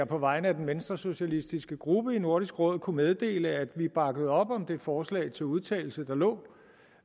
på vegne af den venstresocialistiske gruppe i nordisk råd kunne meddele at vi bakkede op om det forslag til udtalelse der lå